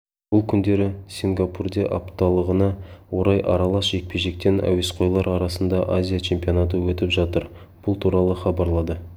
бұл күндері сингапурде апталығына орай аралас жекпе-жектен әуесқойлар арасында азия чемпионаты өтіп жатыр бұл туралы хабарлады